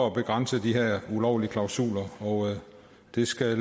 at begrænse de her ulovlige klausuler og det skal